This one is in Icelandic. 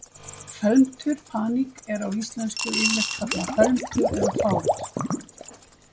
felmtur paník er á íslensku yfirleitt kallað felmtur eða fát